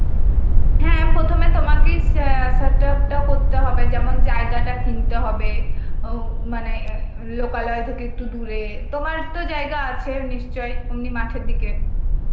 হ্যাঁ, প্রথমে তোমাকেই সা~ setup টা করতে হবে, যেমন জায়গাটা কিনতে হবে ও মানে লোকালয় থেকে একটু দূরে, তোমার তো জায়গা আছে নিশ্চয়ই এমনি মাঠের দিকে.